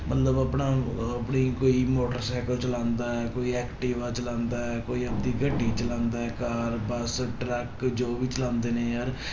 ਮਤਲਬ ਆਪਣਾ ਆਪਣੀ ਕੋਈ ਮੋਟਰ ਸਾਇਕਲ ਚਲਾਉਂਦਾ ਹੈ, ਕੋਈ ਐਕਟਿਵਾ ਚਲਾਉਂਦਾ ਹੈ, ਕੋਈ ਆਪਦੀ ਗੱਡੀ ਚਲਾਉਂਦਾ ਹੈ, ਕਾਰ ਬਸ ਟਰੱਕ ਜੋ ਵੀ ਚਲਾਉਂਦੇ ਨੇ ਯਾਰ